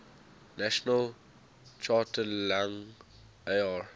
national charter lang ar